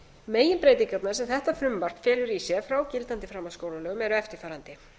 meginbreytingarnar sem þetta frumvarp felur í sér frá gildandi framhaldsskólalögum eru eftirfarandi